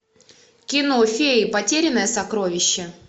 кино феи потерянное сокровище